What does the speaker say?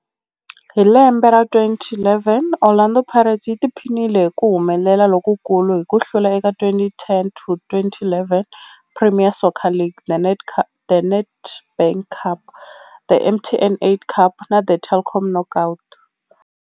Hi lembe ra 2011, Orlando Pirates yi tiphinile hi ku humelela lokukulu hi ku hlula eka 2010 to 2011 Premier Soccer League, The Nedbank Cup, The MTN 8 Cup na The Telkom Knockout.